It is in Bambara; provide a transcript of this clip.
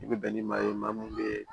I bɛ bɛn ni maa ye maa mun bɛ